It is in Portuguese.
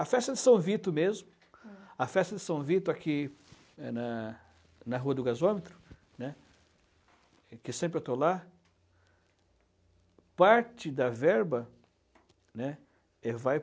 A festa de São Vito mesmo, a festa de São Vito aqui na na Rua do Gasômetro, né, que sempre estou lá, parte da verba, né, vai